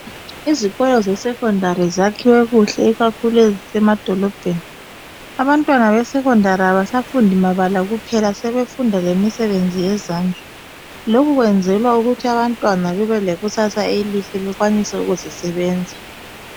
izkolo ze secondary zakhiwe kuhle ikakhulu ezisemadolobheni abantwana be secondary abasafundi mabala kuphela sebefunda lemisebenzi yezandla lokhu kwenzelwa ukuthi abantwana bebe lekusasa elihle bekwanise ukuzisebenza